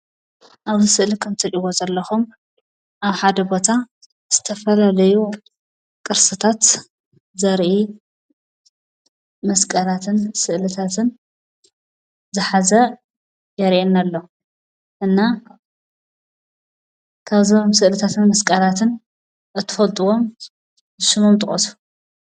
ኣብዚ ስእሊ ከም እትርእይዎ ዘለኹም ኣብ ሓደ ቦታ ዝተፈላለዩ ቅርስታት ዘርኢ መስቀላትን ስእልታትን ዝሓዘ የርእየና ኣሎ። እና ካብዞም ስእልታትን መስቀላትን እትፈልጥዎም ስሞም ጥቐሱ?